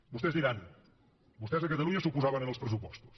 vostès diran vostès a catalunya s’oposaven als pressupostos